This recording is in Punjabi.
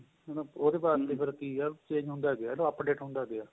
ਉਹ ਤੇ ਬਾਅਦ ਵਾਸਤੇ ਫ਼ਿਰ ਕਿ ਏ change ਹੁੰਦਾ ਗਿਆ ਤੇ update ਹੁੰਦਾ ਗਿਆ